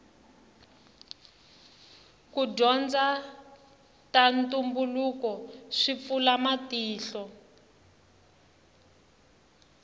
ku dyondza ta ntumbuluko swi pfula matihlo